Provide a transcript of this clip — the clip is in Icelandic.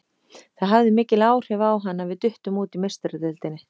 Það hafði mikil áhrif á hann að við duttum út í Meistaradeildinni.